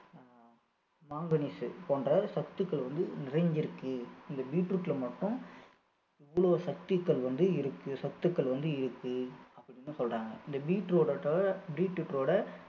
ஆஹ் manganese போன்ற சத்துக்கள் வந்து நிறைஞ்சிருக்கு இந்த beetroot ல மட்டும் இவ்வளவு சத்துக்கள் வந்து இருக்கு சத்துக்கள் வந்து இருக்கு அப்படின்னு சொல்றாங்க இந்த beetroot ஓட beetroot ஓட